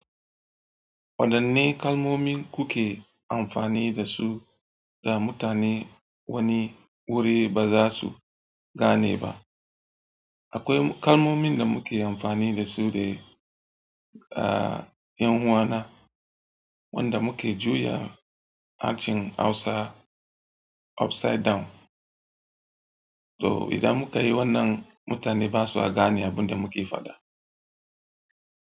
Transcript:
Waɗanne kalmomin kuke amfani da su da mutane wani wuri ba za su gane ba? Akwai kalmomin da muke amfani da su da, ah, 'yan uwana wanda muke juya harshen Hausa upside down. To, idan muka yi wannan, mutane ba su a gane abin da muke faɗa.